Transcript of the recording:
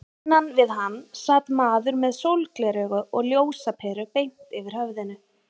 Innan við hann sat maður með sólgleraugu og ljósaperu beint yfir höfðinu.